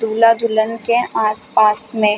दूल्हा-दुल्हन के आस-पास में--